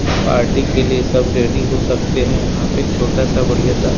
party के लिए सब रेडी हो सकते हैं यहाँ पे छोटा सा बढ़ियां सा--